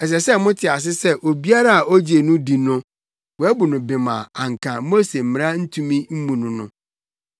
Ɛsɛ sɛ mote ase sɛ obiara a ogye no di no, wɔabu no bem a anka Mose mmara ntumi mmu no no.